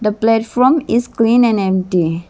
platform is clean and empty.